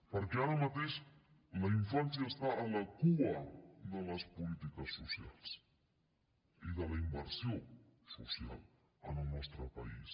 perquè ara mateix la infància està a la cua de les polítiques socials i de la inversió social en el nostre país